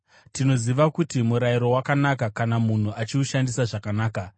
Tinoziva kuti murayiro wakanaka kana munhu achiushandisa zvakanaka.